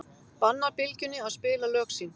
Bannar Bylgjunni að spila lög sín